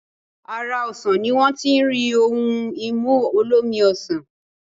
Ara osàn ni wọ́n ti rí ohun-ìmu olómi ọsàn